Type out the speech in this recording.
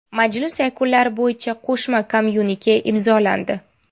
Majlis yakunlari bo‘yicha qo‘shma kommyunike imzolandi.